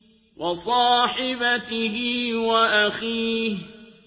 وَصَاحِبَتِهِ وَأَخِيهِ